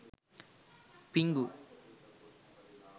pingu